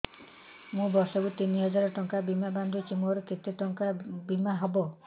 ମୁ ବର୍ଷ କୁ ତିନି ହଜାର ଟଙ୍କା ବୀମା ବାନ୍ଧୁଛି ମୋର କେତେ ଟଙ୍କାର ବୀମା ହବ